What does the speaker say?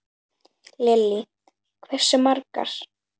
Lillý: Hversu margar?